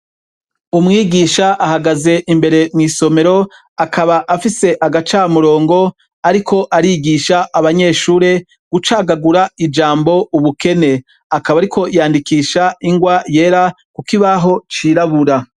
Umwigisha ahagaze imbere mw'isomero akaba afise agacamurongo, ariko arigisha abanyeshure gucagagura ijambo ubukene akaba, ariko yandikisha ingwa yera, kuko ibaho cirabura.